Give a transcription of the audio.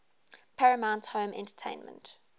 paramount home entertainment